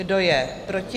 Kdo je proti?